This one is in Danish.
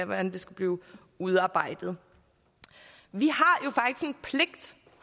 hvordan det skulle udarbejdes vi